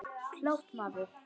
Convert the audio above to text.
Klárt, maður!